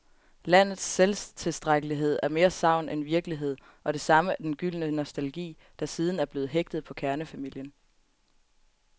Landets selvtilstrækkelighed er mere sagn end virkelighed, og det samme er den gyldne nostalgi, der siden er blevet hægtet på kernefamilien.